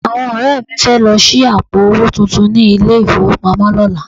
Àwọn ọ̀rẹ́ mi fẹ́ lọ ṣí àpò owó tuntun ní ilé-ìfowópamọ́ lọ́la